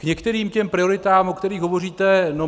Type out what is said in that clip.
K některým těm prioritám, o kterých hovoříte.